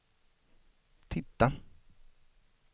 titta